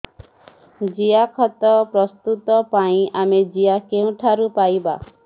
ଜିଆଖତ ପ୍ରସ୍ତୁତ ପାଇଁ ଆମେ ଜିଆ କେଉଁଠାରୁ ପାଈବା